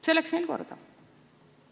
See läks neil korda.